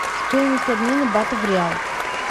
стоимость обмена бата в реал